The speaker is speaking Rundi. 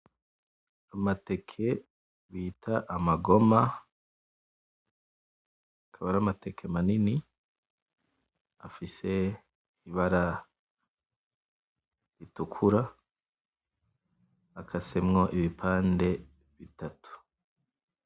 Amateke bita amagoma akaba ari amateke manini afise ibara ritukura akasemwo ibipande bitatu